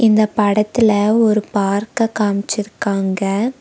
இந்த படத்துல ஒரு பார்க்க காமிச்சிருக்காங்க.